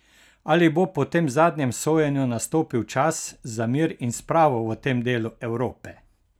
Ali bo po tem zadnjem sojenju nastopil čas za mir in spravo v tem delu Evrope?